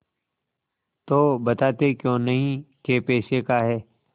तो बताते क्यों नहीं कै पैसे का है